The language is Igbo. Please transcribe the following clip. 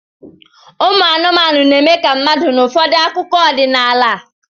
Ụmụ anụmanụ na-eme ka mmadụ n'ụfọdụ akụkọ ọdịnala